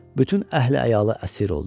Bütün əhli-əyalı əsir oldu.